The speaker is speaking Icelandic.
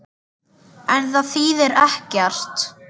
En það þýðir ekkert.